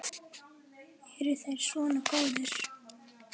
Eru þeir svona góðir?